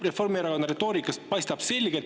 Reformierakonna retoorikast paistab selgelt …